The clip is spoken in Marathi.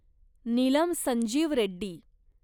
नीलम संजीव रेड्डी